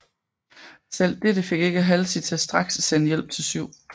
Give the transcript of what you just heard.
Selv dette fik ikke Halsey til straks at sende hjælp til 7